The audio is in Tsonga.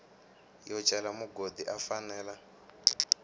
yo cela mugodi u fanela